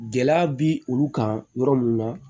Gɛlɛya bi olu kan yɔrɔ munnu na